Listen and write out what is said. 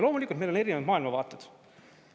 Loomulikult, meil on erinevad maailmavaated.